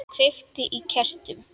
Kveiki á kertum.